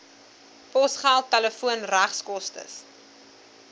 posgeld telefoon regskoste